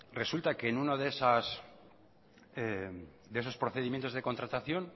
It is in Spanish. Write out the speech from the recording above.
resulta que en una de esos procedimientos de contratación